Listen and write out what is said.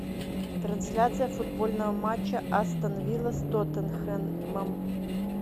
трансляция футбольного матча астон вилла с тоттенхэмом